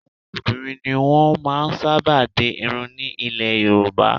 Àwọn obìnrin ni wọ́n máa ń sábà di irun ní ilẹ̀ Yorùbá